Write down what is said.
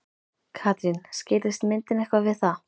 Katrín, skýrðist myndin eitthvað við það?